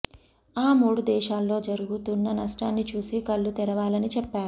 ఆ మూడు దేశాల్లో జరుగుతున్న నష్టాన్ని చూసి కళ్లు తెరవాలని చెప్పారు